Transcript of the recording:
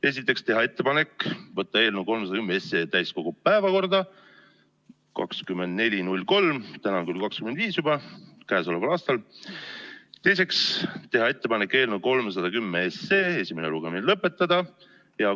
Esiteks, teha ettepanek võtta eelnõu 310 täiskogu päevakorda 24.03 – täna on küll 25.03 juba – k.a. Teiseks, teha ettepanek eelnõu 310 esimene lugemine lõpetada.